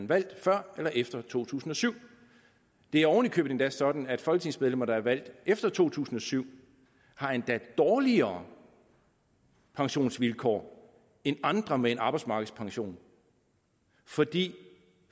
valgt før eller efter to tusind og syv det er oven i købet sådan at folketingsmedlemmer der er valgt efter to tusind og syv har dårligere pensionsvilkår end andre med en arbejdsmarkedspension fordi